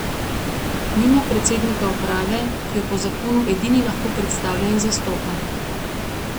Nima predsednika uprave, ki jo po zakonu edini lahko predstavlja in zastopa.